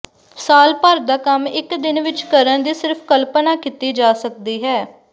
ਸਾਲ ਭਰ ਦਾ ਕੰਮ ਇੱਕ ਦਿਨ ਵਿਚ ਕਰਨ ਦੀ ਸਿਰਫ ਕਲਪਨਾ ਕੀਤੀ ਜਾ ਸਕਦੀ ਹੈ